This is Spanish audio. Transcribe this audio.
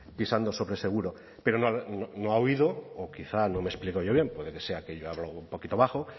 pisando sobre seguro pero no ha oído o quizá no me he explicado yo bien puede que sea que yo hablo un poquito bajo